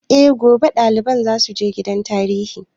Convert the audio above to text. Eh, gobe ɗaliban za su je gidan tarihi